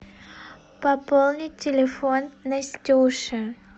пополнить телефон настюши